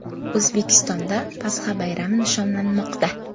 O‘zbekistonda Pasxa bayrami nishonlanmoqda.